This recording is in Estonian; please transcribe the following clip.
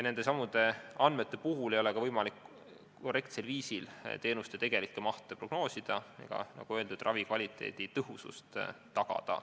Nende andmete abil ei ole ka võimalik korrektsel viisil teenuste tegelikku mahtu prognoosida ega, nagu öeldud, ravikvaliteedi tõhusust tagada.